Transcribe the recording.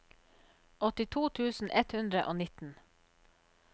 åttito tusen ett hundre og nitten